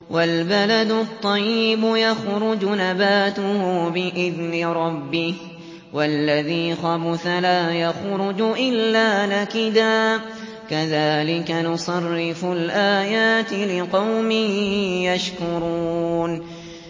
وَالْبَلَدُ الطَّيِّبُ يَخْرُجُ نَبَاتُهُ بِإِذْنِ رَبِّهِ ۖ وَالَّذِي خَبُثَ لَا يَخْرُجُ إِلَّا نَكِدًا ۚ كَذَٰلِكَ نُصَرِّفُ الْآيَاتِ لِقَوْمٍ يَشْكُرُونَ